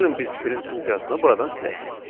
Gəlin biz print funksiyasını buradan silək.